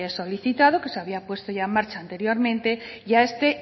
solicitado que se había puesto ya en marcha anteriormente a este